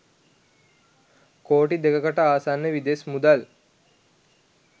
කෝටි දෙකකට ආසන්න විදෙස් මුදල්